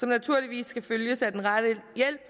naturligvis følges af den rette hjælp